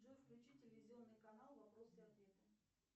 джой включи телевизионный канал вопросы и ответы